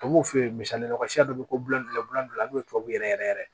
Tubabuw fɛ ye misalila masiya dɔ bɛ ko bulon fila n'o ye tubabuw yɛrɛ yɛrɛ yɛrɛ